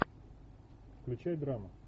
включай драму